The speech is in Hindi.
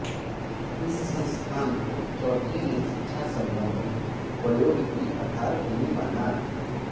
इस संस्थान को चौधरी ने शिक्षा सम्बन्धी प्रयोग की आधारभूमि माना